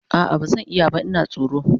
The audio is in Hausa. a'a bazan iya ba Ina tsoro